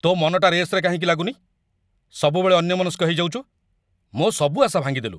ତୋ ମନଟା ରେସ୍‌ରେ କାହିଁକି ଲାଗୁନି? ସବୁବେଳେ ଅନ୍ୟମନସ୍କ ହେଇଯାଉଚୁ । ମୋ' ସବୁ ଆଶା ଭାଙ୍ଗିଦେଲୁ ।